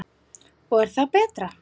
Og er það betra?